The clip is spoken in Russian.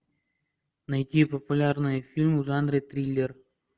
найди популярные фильмы в жанре триллер